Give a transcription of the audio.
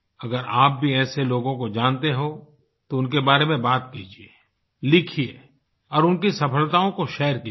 अगर आप भी ऐसे लोगों को जानते हो तो उनके बारे में बात कीजिये लिखिये और उनकी सफलताओं को शेयर कीजिए